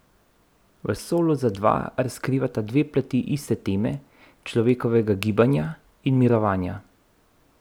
V Solu za dva razkrivata dve plati iste teme, človekovega gibanja in mirovanja.